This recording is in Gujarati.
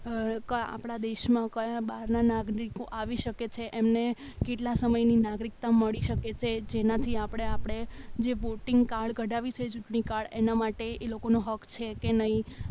આપણા દેશમાં કયા બહારના નાગરિકો આવી શકે છે એમને કેટલા સમયની નાગરિકતા મળી શકે છે જેનાથી આપણે આપણે જે વોટિંગ કાર્ડ કરાવીએ છીએ એના માટે એ લોકોનો હક છે કે નહીં